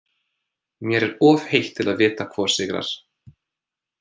Mér er of heitt til að vita hvor sigrar.